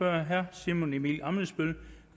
herre simon emil ammitzbøll